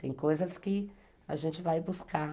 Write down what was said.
Tem coisas que a gente vai buscar.